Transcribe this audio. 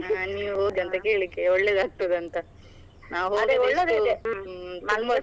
ಹಾ ನೀವ್ ಹೋದ್ಯ ಅಂತ ಕೇಳಿಕ್ಕೆ ಒಳ್ಳೇದಾಗ್ತದ ಅಂತ .